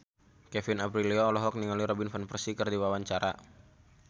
Kevin Aprilio olohok ningali Robin Van Persie keur diwawancara